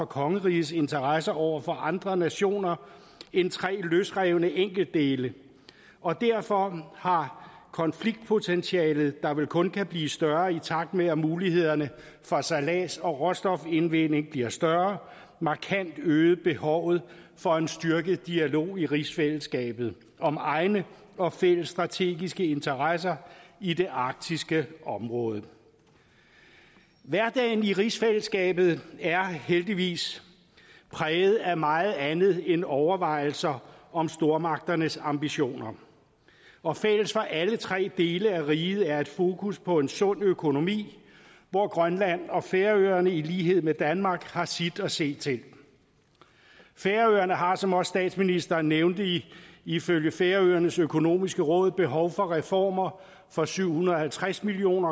kongerigets interesser over for andre nationer end tre løsrevne enkeltdele og derfor har konfliktpotentialet der vel kun kan blive større i takt med at mulighederne for sejlads og råstofindvinding bliver større markant øget behovet for en styrket dialog i rigsfællesskabet om egne og fælles strategiske interesser i det arktiske område hverdagen i rigsfællesskabet er heldigvis præget af meget andet end overvejelser om stormagternes ambitioner og fælles for alle tre dele af riget er et fokus på en sund økonomi hvor grønland og færøerne i lighed med danmark har sit at se til færøerne har som også statsministeren nævnte det ifølge færøernes økonomiske råd behov for reformer for syv hundrede og halvtreds million